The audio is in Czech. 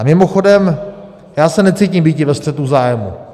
A mimochodem já se necítím být ve střetu zájmů.